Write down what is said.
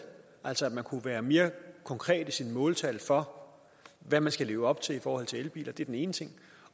altså at man kunne være mere konkret i sine måltal for hvad man skal leve op til i forhold til elbiler det er den ene ting